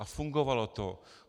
A fungovalo to.